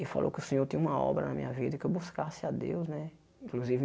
E falou que o Senhor tem uma obra na minha vida, que eu buscasse a Deus, né? Inclusive